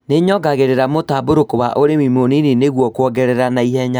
Nĩyongagĩrĩra mũtambũrũko wa ũrĩmi mũnini nĩguo kwongerera naihenya